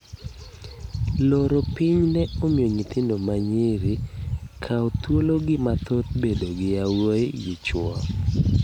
Loro piny ne omiyo nyithindo manyiri kawo thuolo gi mathoth bedo gi yawuoyi gi chuo.